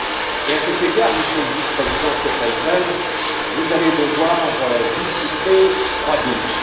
et, à cet égard, Monsieur le Vice président Katainen, vous allez devoir dissiper trois doutes.